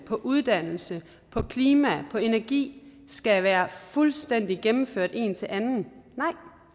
på uddannelse på klima på energi skal være fuldstændig gennemført en til anden nej